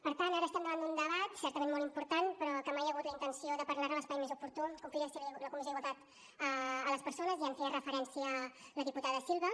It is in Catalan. per tant ara estem davant d’un debat certament molt important però que mai hi ha hagut la intenció de parlar ne en l’espai més oportú com podria ser la comissió d’igualtat de les persones ja hi feia referència la diputada silva